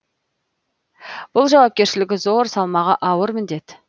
бұл жауапкершілігі зор салмағы ауыр міндет